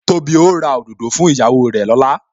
Tóbi ó ra òdòdó fún ìyàwó rè lọ́la